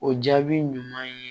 O jaabi ɲuman ye